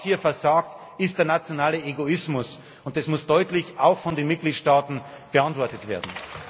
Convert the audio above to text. Was hier versagt, ist der nationale Egoismus, und das muss deutlich auch von den Mitgliedstaaten beantwortet werden.